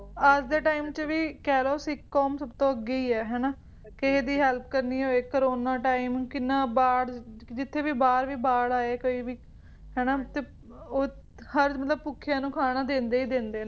ਅੱਜ ਦੇ ਟਾਈਮ ਦੇ ਵਿਚ ਵੀ ਕਹਿ ਲੋ ਵੀ ਸਿੱਖ ਕੌਮ ਸਭ ਤੋਂ ਅੱਗੇ ਹੀ ਹੈ ਹੈ ਨਾ ਕਿਸੇ ਦੀ help ਕਰਨੀ ਹੋਏ ਕਰਨਾ time ਕਿੰਨਾ ਬਾੜ ਜਿੱਥੇ ਵੀ ਬਾਹਰ ਵੀ ਬਾੜ ਆਏ ਕੋਈ ਭੀ ਹੈ ਨਾ ਹਰ ਮਤਲਬ ਭੁੱਖਿਆਂ ਨੂੰ ਖਾਣਾ ਦਿੰਦੇ ਹੀ ਦਿੰਦੇ ਨੇ ਦਿੰਦੇ ਹੈ